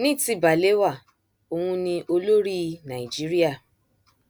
ní ti balewa òun ni olórí nàìjíríà